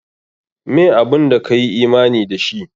Meh abun da ka yi imani da shi?